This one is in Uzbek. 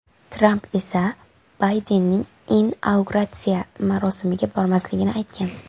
Tramp esa Baydenning inauguratsiya marosimiga bormasligini aytgan .